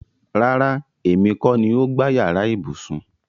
Rárá, èmi kọ́ ni o gbá yàrá ibùsùn